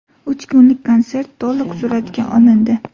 Uch kunlik konsert to‘liq suratga olindi.